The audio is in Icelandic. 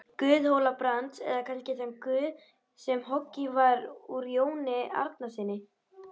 Guð Hóla-Brands, eða kannski þann guð sem hoggin var úr Jóni Arasyni?